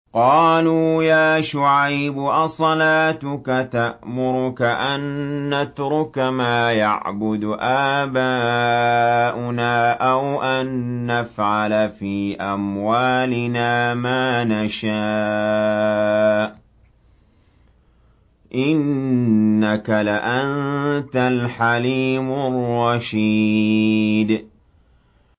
قَالُوا يَا شُعَيْبُ أَصَلَاتُكَ تَأْمُرُكَ أَن نَّتْرُكَ مَا يَعْبُدُ آبَاؤُنَا أَوْ أَن نَّفْعَلَ فِي أَمْوَالِنَا مَا نَشَاءُ ۖ إِنَّكَ لَأَنتَ الْحَلِيمُ الرَّشِيدُ